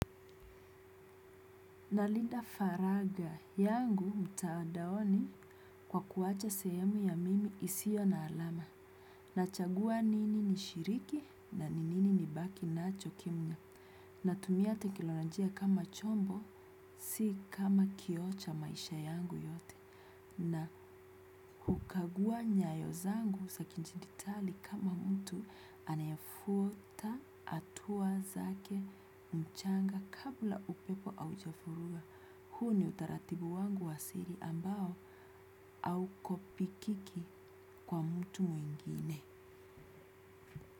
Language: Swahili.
Nalinda faragha yangu mtandaoni kwa kuacha sehemu ya mimi isio na alama. Nachagua nini nishiriki na nini nibaki nacho kimya. Natumia teknolojia kama chombo si kama kioo cha maisha yangu yote. Na hukagua nyayo zangu za kiditali kama mtu anayefuata hatua zake mchanga kabla upepo haujavuruga huu ni utaratibu wangu wa siri ambao haukopikiki kwa mtu mwingine.